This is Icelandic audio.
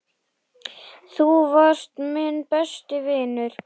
Þú varst minn besti vinur.